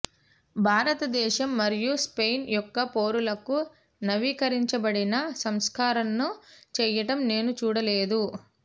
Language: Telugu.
భారతదేశం మరియు స్పెయిన్ యొక్క పౌరులకు నవీకరించబడిన సంస్కరణను చేయటం నేను చూడలేదు